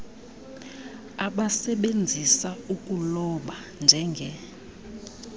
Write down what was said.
abasebenzisa ukuloba njenge